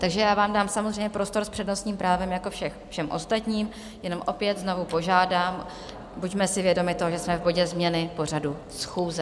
Takže já vám dám samozřejmě prostor s přednostním právem jako všem ostatním, jenom opět znovu požádám, buďme si vědomi toho, že jsme v bodě Změny pořadu schůze.